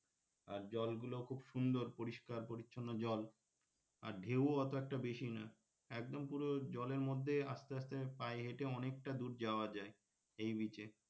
আর জলগুলোও খুব সুন্দর পরিস্কার পরিচ্ছন্ন জল আর ঢেউ ও অত একটা বেশি না একদম পুরো জলের মধ্যে আস্তে আস্তে পায়ে হেঁটে অনেকটা দূর যাওয়া যায় এই beach এ,